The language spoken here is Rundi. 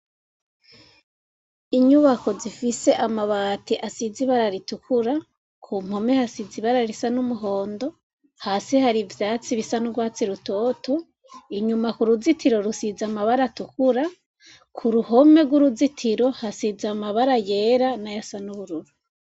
Inyubako zifise amabati asize ibara ritukura kumpome hasize ibara risa numuhondo hasi hari ivyatsi bisa nurwatsi rutoto inyuma kuruzitiro hasize amarangi atukura kuruhome hasize amabara yera hamwe nubururu